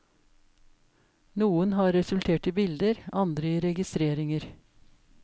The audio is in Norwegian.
Noen har resultert i bilder, andre i registreringer.